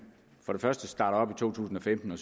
for første starter op i to tusind og femten og